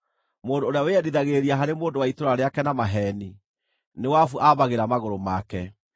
Mũndũ ũrĩa wĩyendithagĩrĩria harĩ mũndũ wa itũũra rĩake na maheeni, nĩ wabu aambagĩra magũrũ make.